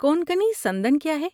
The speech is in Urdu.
کونکنی سندن کیا ہے؟